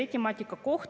Austatud istungi juhataja!